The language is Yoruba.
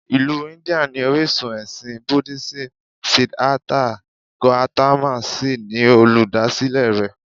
Ìlú India ni orísun ẹ̀sìn Búdísìmù Siddhartha Gautama sì ni olùdásílẹ̀ rẹ̀